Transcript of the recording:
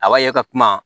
A b'a ye ka kuma